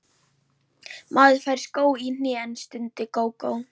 Maður fær sko í hnén, stundi Gógó.